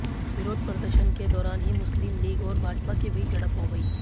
विरोध प्रदर्शन के दौरान ही मुस्लिम लीग और भाजपा के बीच झड़प हो गई